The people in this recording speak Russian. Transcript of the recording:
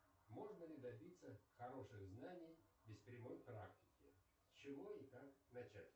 можно ли добиться хороших знаний без прямой практики с чего и как начать